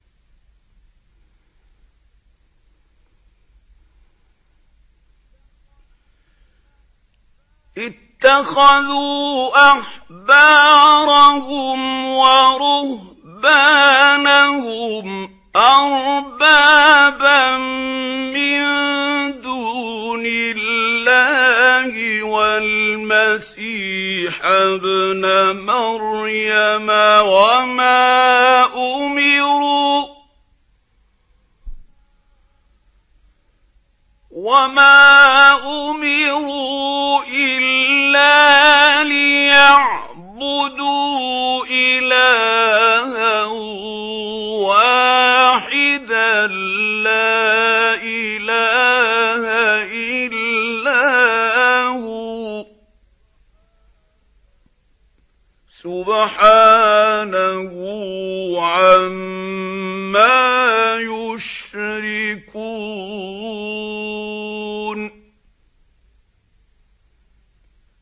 اتَّخَذُوا أَحْبَارَهُمْ وَرُهْبَانَهُمْ أَرْبَابًا مِّن دُونِ اللَّهِ وَالْمَسِيحَ ابْنَ مَرْيَمَ وَمَا أُمِرُوا إِلَّا لِيَعْبُدُوا إِلَٰهًا وَاحِدًا ۖ لَّا إِلَٰهَ إِلَّا هُوَ ۚ سُبْحَانَهُ عَمَّا يُشْرِكُونَ